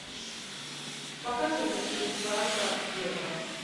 покажи мне курс франка к евро